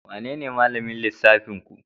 Wanene malamin lissafinku?